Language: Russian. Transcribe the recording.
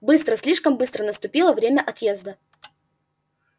быстро слишком быстро наступило время отъезда